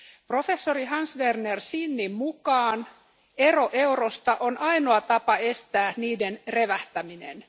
Professori Hans Werner Sinnin mukaan ero eurosta on ainoa tapa estää niiden revähtäminen.